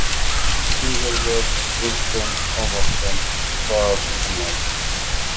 Sigurður Kristinn Ómarsson: Hvað annað?